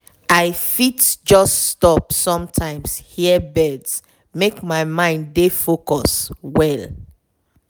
i fit just stop sometimes hear birds make my mind dey focus well.